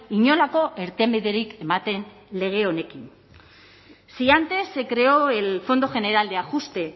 inolako irtenbiderik ematen lege honekin si antes se creó el fondo general de ajuste